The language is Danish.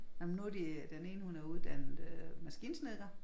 Nej men nu de den ene hun er uddannet øh maskinesnedker